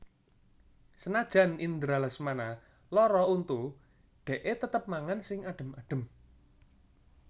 Senajan Indra Lesmana lara untu dekke tetep mangan sing adem adem